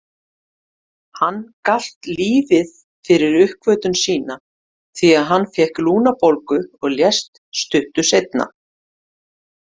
Hann galt lífið fyrir uppgötvun sína því að hann fékk lungnabólgu og lést stuttu seinna.